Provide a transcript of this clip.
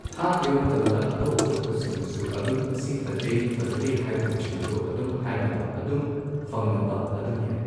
ꯊꯥꯈꯤꯕ ꯃꯇꯝꯗ ꯑꯇꯣꯞ ꯑꯇꯣꯞꯄꯁꯤꯡꯅꯁꯨ ꯑꯗꯨꯝ ꯁꯤ ꯐꯖꯩ ꯐꯖꯗꯦ ꯍꯥꯏꯕꯅꯆꯤꯡꯕꯗꯣ ꯑꯗꯨꯝ ꯍꯥꯏꯅꯕ ꯑꯗꯨꯝ ꯐꯪꯅꯕ ꯑꯗꯨꯝ ꯌꯥꯏ